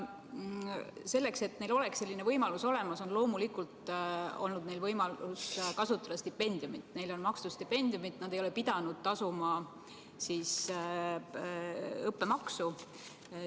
Selleks, et neil selline võimalus oleks, on neil loomulikult olnud võimalik kasutada stipendiumi, neile on makstud stipendiumi, nad ei ole pidanud tasuma õppemaksu.